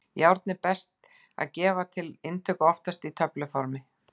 Járn er best að gefa til inntöku, oftast á töfluformi.